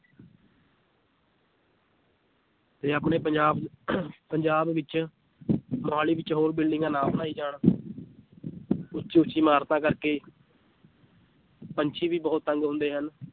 ਤੇ ਆਪਣੇ ਪੰਜਾਬ ਪੰਜਾਬ ਵਿੱਚ ਮੁਹਾਲੀ ਵਿੱਚ ਹੋਰ ਬਿਲਡਿੰਗਾਂ ਨਾ ਬਣਾਈ ਜਾਣ ਉੱਚੀ ਉੱਚੀ ਇਮਾਰਤਾਂ ਕਰੇ ਪੰਛੀ ਵੀ ਬਹੁਤ ਤੰਗ ਹੁੰਦੇ ਹਨ,